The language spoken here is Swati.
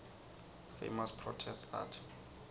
famous protest art